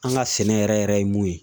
An ka sɛnɛ yɛrɛ yɛrɛ ye mun ye